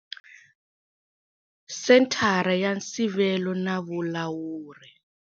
Senthara ya Nsivelo na vulawuri.